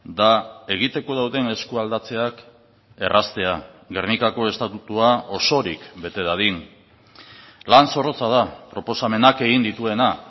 da egiteko dauden eskualdatzeak erraztea gernikako estatutua osorik bete dadin lan zorrotza da proposamenak egin dituena